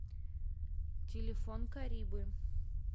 телефон карибы